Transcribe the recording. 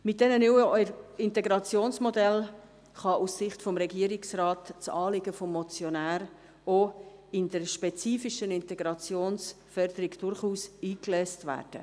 Mit diesen neuen Integrationsmodellen kann aus Sicht des Regierungsrates das Anliegen des Motionärs auch bei der spezifischen Integrationsförderung durchaus eingelöst werden.